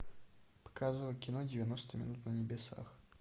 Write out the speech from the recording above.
показывай кино девяносто минут на небесах